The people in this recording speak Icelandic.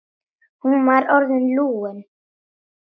Hún var orðin lúin.